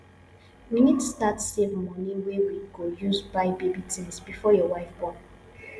we need start save money wey we go use buy baby things before your wife born